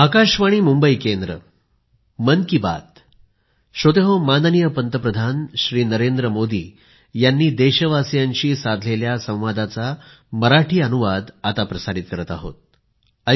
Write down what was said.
Navi Delhi 27 December 2020